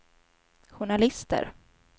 journalister